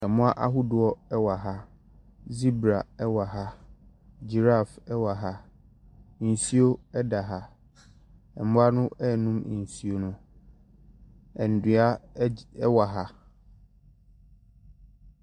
Ɛmmoa ahodoɔ ɛwɔ ha. Zibra ɛwɔ ha, Gyiraf ɛwɔ ha, nsuo ɛda ha. Ɛmmoa no ɛɛnom nsuo no. Edua ɛwɔ ha.